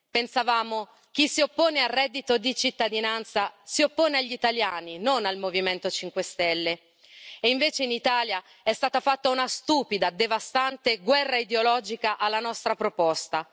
Pensavamo che chi si oppone al reddito di cittadinanza si oppone agli italiani, non al Movimento 5 Stelle, e invece in Italia è stata fatta una stupida, devastante guerra ideologica alla nostra proposta.